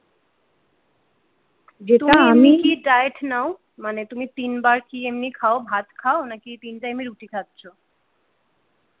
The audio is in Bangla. যেটা আমি তুমি এমনি কি diet নাও মানে তুমি তিনবার কি এমনি খাও ভাত খাও নাকি তিন টাইমে রুটি খাচ্ছ।